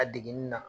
A degeli na